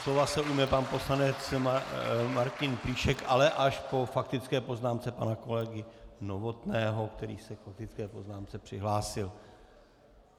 Slova se ujme pan poslanec Martin Plíšek, ale až po faktické poznámce pana kolegy Novotného, který se k faktické poznámce přihlásil.